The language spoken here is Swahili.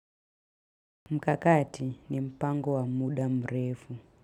Mkakati ni mpango wa muda mrefu.